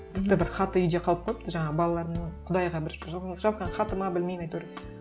тіпті бір хаты үйде қалып қойыпты жаңағы балаларымның құдайға бір жазған хаты ма білмеймін әйтеуір